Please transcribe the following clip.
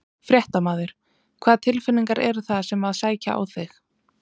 Fréttamaður: Hvaða tilfinningar eru það sem að sækja á þig?